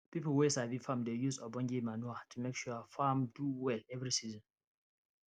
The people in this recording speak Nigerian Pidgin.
people wey sabi farm dey use ogbonge manure to make sure farm do well every season